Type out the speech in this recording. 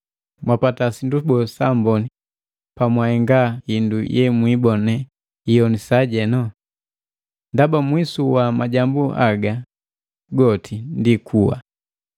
Mwapata sindu boo, saamboni pamwahenga hindu yemwibone hioni sajenu? Ndaba mwisu wa majambu haga goti ndi kuwa!